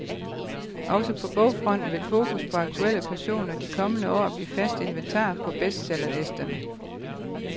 Også på bogfronten vil fokus på aktuelle personer de kommende år blive fast inventar på bestsellerlisterne.